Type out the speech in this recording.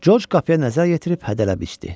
George qapıya nəzər yetirib hədələbcə içdi.